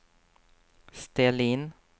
ställ in